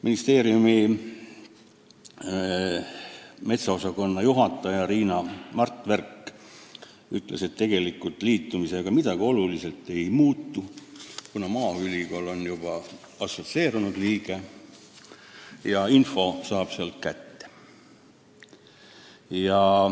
Ministeeriumi metsaosakonna juhataja Riina Martverk ütles, et tegelikult liitumisega midagi oluliselt ei muutu, kuna meie maaülikool on juba assotsieerunud liige ja info saab sedakaudu kätte.